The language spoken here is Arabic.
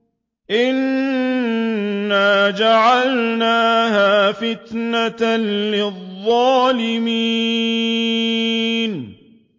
إِنَّا جَعَلْنَاهَا فِتْنَةً لِّلظَّالِمِينَ